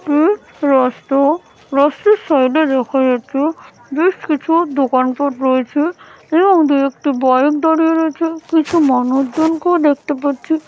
এটি একটি রাস্তা রাস্তার সাইড এ দেখা যাচ্ছে বেশ কিছু দোকান পাট রয়েছে এবং দু একটি বাইক দাঁড়িয়ে রয়েছেকিছু মানুষজনকেও দেখতে পাচ্ছি ।